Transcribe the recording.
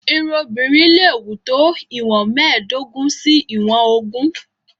Irun obìnrin leè wù tó ìwọ̀n mẹ́ẹ̀dógún sí ìwọ̀n ogún.